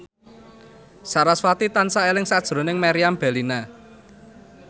sarasvati tansah eling sakjroning Meriam Bellina